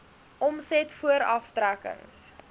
omset voor aftrekkings